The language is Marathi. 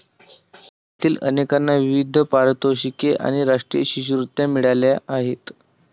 त्यातील अनेकांना विविध पारितोषिके आणि राष्ट्रीय शिष्यवृत्त्या मिळाल्या आहेत.